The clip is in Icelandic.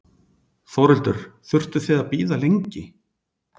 Þórhildur: Þurftuð þið að bíða lengi?